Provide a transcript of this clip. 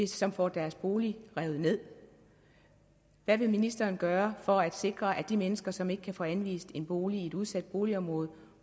som får deres boliger revet ned hvad vil ministeren gøre for at sikre at de mennesker som ikke kan få anvist en bolig i et udsat boligområde